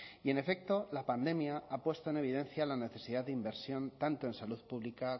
y en efecto la pandemia ha puesto en evidencia la necesidad de inversión tanto en salud pública